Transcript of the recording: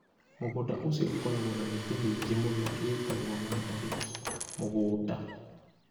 Mũgũnda ũcio ũkoragwo na mĩtĩ mĩingĩ mũno ĩĩtagwo mandarĩki. Mũgũnda.